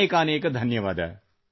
ಅನೇಕಾನೇಕ ಧನ್ಯವಾದ